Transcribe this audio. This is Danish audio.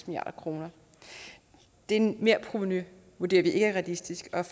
milliard kroner det merprovenu vurderer vi ikke er realistisk og